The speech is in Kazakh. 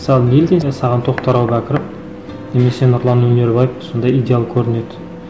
мысалы неден де саған тоқтар әубәкіров немесе нұрлан өнербаев сондай идеал көрінеді